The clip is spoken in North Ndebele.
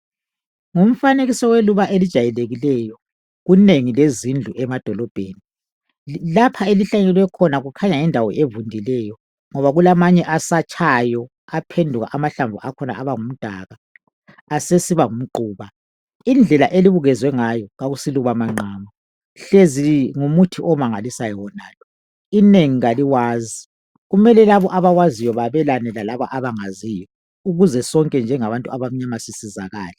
Ngumfanekiso weluba elijayelekileyo kunengi zezindlu emadolobheni lapha ahlanyelwe khona kukhanya yindawo evundileyo ngoba kukhanya kulamanye asatshayo aphenduka amahlamvu akhona abangu mdaka indlela elibukezwe ngayo asiluba mangqama hlezi ngumuthi omangalisayo wonalo inengi kaliwazi kumele labo abalaziwo babelana lalaba abangaliziyo ukuze sonke njengabantu abamnyama sisizakale